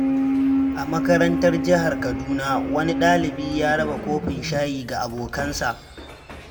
A makarantar Jihar Kaduna, wani dalibi ya raba kofin shayi ga abokansa.